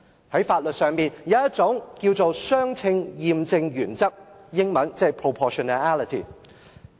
在法律上，有一種叫作"相稱驗證準則"，英文是 proportionality。